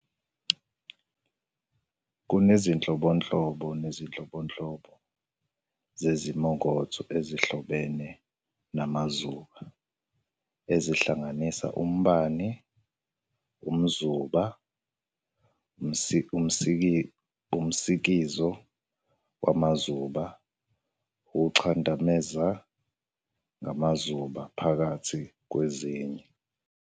Kunezinhlobonhlobo zezimongotho ezihlobene namazuba, ezihlanganisa umbani, umzuba "static electric", umsikizo wamazuba "electric discharge", ukuchadameza ngamazuba, phakathi kwezinye.